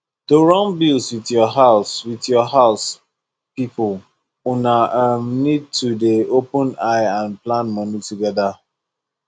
to run bills with your house with your house people una um need to dey open eye and plan money together